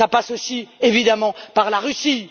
Cela passe aussi, évidemment, par la Russie.